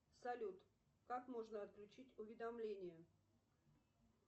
салют как можно отключить уведомления